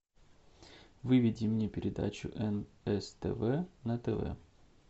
выведи мне передачу нс тв на тв